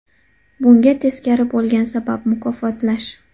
Bunga teskari bo‘lgan sabab – mukofotlash.